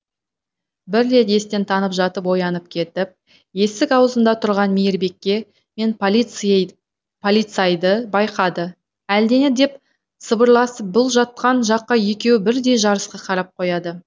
бір рет естен танып жатып оянып кетіп есік аузында тұрған мейірбике мен полицайды байқады әлдене деп сыбырласып бұл жатқан жаққа екеуі бірдей жарыса қарап қояды